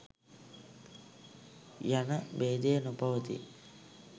යන භේදය නොපවතී.